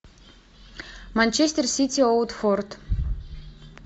манчестер сити уотфорд